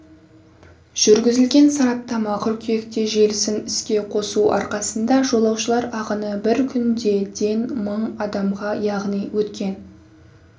жүргізілген сараптама қыркүйекте желісін іске қосу арқасында жолаушылар ағыны бір күнде ден мың адамға яғни өткен